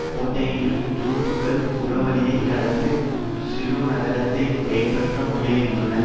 கோட்கையையும் துருப்புக்கள் புறவழியே கடந்து சிறுநகரத்தைக் கைப்பற்ற முயல்கின்றன